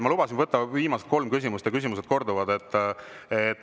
Ma lubasin võtta viimast kolm küsimust, sest küsimused korduvad.